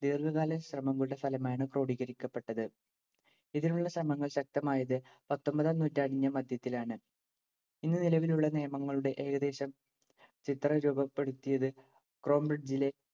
ദീർഘകാല ശ്രമങ്ങളുടെ ഫലമായാണ്‌ ക്രോഡീകരിക്കപ്പെട്ടത്‌. ഇതിനുളള ശ്രമങ്ങൾ ശക്തമായത്‌ പത്തൊമ്പതാം നൂറ്റാണ്ടിന്‍റെ മധ്യത്തിലാണ്‌. ഇന്നു നിലവിലുളള നിയമങ്ങളുടെ ഏകദേശം ചിത്രം രൂപപ്പെടുത്തിയതു ക്രോംബ്രിഡ്ജിലെ